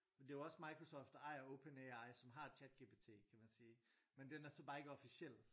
Men det er jo også Microsoft der ejer OpenAI som har ChatGPT kan man sige men den er så bare ikke officiel